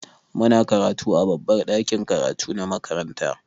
Muna karatu a babbar ɗakin karatu na makaranta.